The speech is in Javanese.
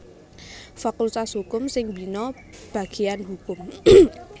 Fakultas Hukum sing mbina bagéyan Hukum